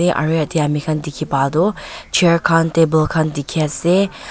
aru yate ami khan dekhi pa tu chair table khan dekhi ase.